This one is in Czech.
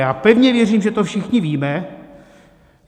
Já pevně věřím, že to všichni víme.